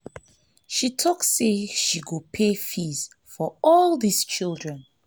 she talk say she go pay school fees for all dis children